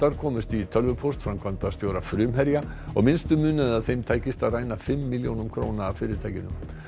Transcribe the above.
komust í tölvupóst framkvæmdastjóra Frumherja og minnstu munaði að þeim tækist að ræna fimm milljónum króna af fyrirtækinu